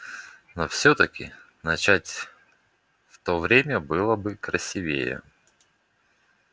но всё-таки начать в то время было бы красивее